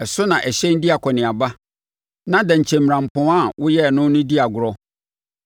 Ɛso na ahyɛn di akɔneaba, na dɛnkyɛmmirampɔn a woyɛɛ no di agorɔ.